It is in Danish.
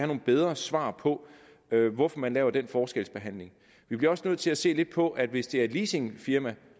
nogle bedre svar på hvorfor man laver den forskelsbehandling vi bliver også nødt til at se lidt på at hvis det er et leasingfirma